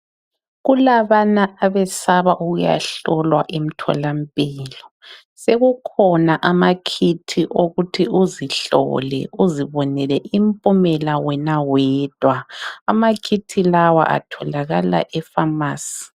Kulabana abesaba ukuyahlolwa emtholampilo, sekukhona ama Kit okuthi uzihlole. Uzibonele impumela wena wedwa amaKit lawa atholakala eFamasi.